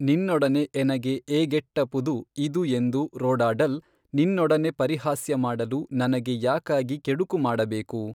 ನಿನ್ನೊಡನೆ ಎನಗೆ ಏಗೆಟ್ಟಪುದು ಇದು ಎಂದು ರೋಡಾಡಲ್ ನಿನ್ನೊಡನೆ ಪರಿಹಾಸ್ಯ ಮಾಡಲು ನನಗೆ ಯಾಕಾಗಿ ಕೆಡುಕು ಮಾಡಬೇಕು?